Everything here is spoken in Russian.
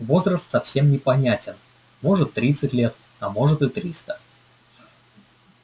возраст совсем непонятен может тридцать лет а может и триста